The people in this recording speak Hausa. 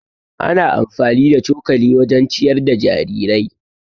Ana amfani da cokali wajen ciyar da jarirai.